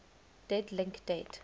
dead link date